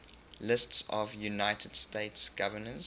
lists of united states governors